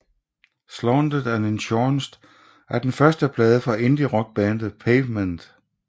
Slanted and Enchanted er den første plade fra indierockbandet Pavement